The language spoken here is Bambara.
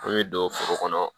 An bɛ don foro kɔnɔ